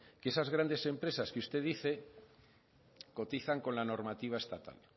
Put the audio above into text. que esas grandes empresas que usted dice cotizan con la normativa estatal